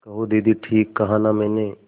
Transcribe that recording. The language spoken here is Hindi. कहो दीदी ठीक कहा न मैंने